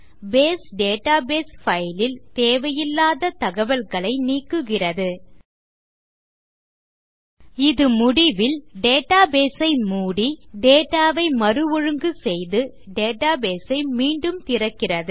base database file ல் தேவையில்லாத தகவல்களை நீக்குகிறது இது முதலில் டேட்டாபேஸ் ஐ மூடி டேட்டா ஐ மறுஒழுங்கு செய்து டேட்டாபேஸ் ஐ மீண்டும் திறக்கிறது